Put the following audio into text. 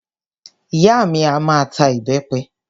Ìyá mi a máa ta ìbẹpẹ